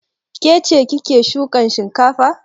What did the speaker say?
Ke ce kike shukan shinkafa?